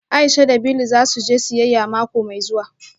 Aisha da Bili za su je siyayya mako mai zuwa